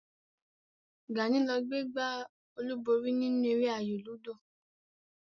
Gàní ló gbé gbá olúborí nínú eré ayò lúdò